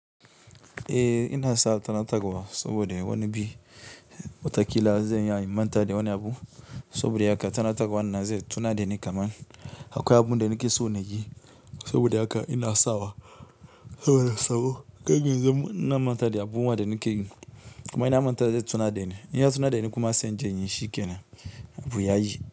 Eh ina tanatarwa saboda wani bi mataki na zan iya manta da wani abu. Saboda haka tunatarwan nan zai tuna da ni kaman akwai abun da nake so na yi. Saboda haka ina sawa saboda sabo kada ya zamo ina mantawa da abubuwan da nake yi. Kuma in na manta zai tuna da ni, in ya tuna da ni kuma zan in je in yi shikenan abu ya yi.